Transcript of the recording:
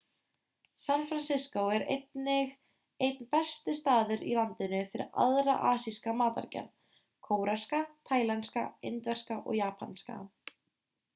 san francisco er einnig einn besti staður í landinu fyrir aðra asíska matargerð kóreska taílenska indverska og japanska